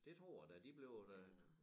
Det tror jeg da de bliver da